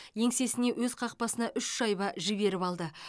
еңсесіне өз қақпасына үш шайба жіберіп алды